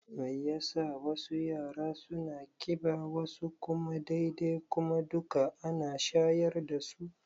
Mai yasa wasu yara suna ƙiba wasu kuma dai-dai kuma duka ana shayar dasu?